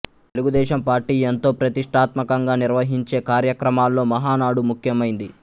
Telugu Desam party ఎంతో ప్రతిష్టాత్మకంగా నిర్వహించే కార్యక్రమాల్లో మహానాడు ముఖ్యమైంది